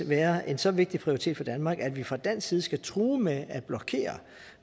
være en så vigtig prioritet for danmark at vi fra dansk side skal true med at blokere